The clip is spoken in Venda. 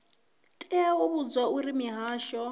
tea u vhudzwa uri mihasho